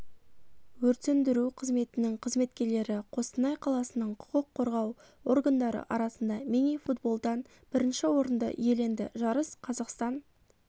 өрт сөндіру қызметінің қызметкерлері қостанай қаласының құқық қорғау органдары арасында мини-футболдан бірінші орынды иеленді жарыс қазақстан